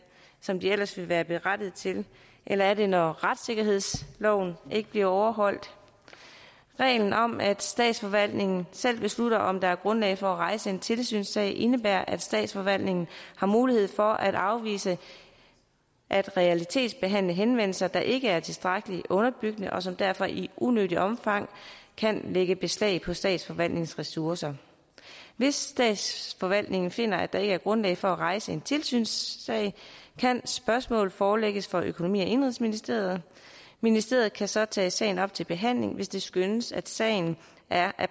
som den ellers ville være berettiget til eller er det når retssikkerhedsloven ikke bliver overholdt reglen om at statsforvaltningen selv beslutter om der er grundlag for at rejse en tilsynssag indebærer at statsforvaltningen har mulighed for at afvise at realitetsbehandle henvendelser der ikke er tilstrækkeligt underbygget og som derfor i unødigt omfang kan lægge beslag på statsforvaltningens ressourcer hvis statsforvaltningen finder at der ikke er grundlag for at rejse en tilsynssag kan spørgsmålet forelægges for økonomi og indenrigsministeriet og ministeriet kan så tage sagen op til behandling hvis det skønnes at sagen er